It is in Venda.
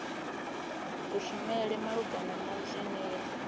kushumele malugana na zwine ya